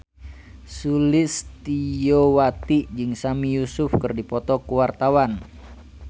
Sulistyowati jeung Sami Yusuf keur dipoto ku wartawan